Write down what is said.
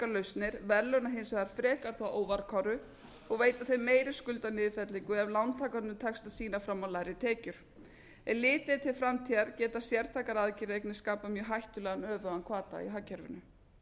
lausnir verðlauna hins vegar frekar þá óvarkáru og veita þeim meiri skuldaniðurfellingu ef lántakendum tekst að sýna fram á lægri tekjur ef litið er til framtíðar geta sértækar aðgerðir einnig skapað mjög hættulegan öfugan hvata í hagkerfinu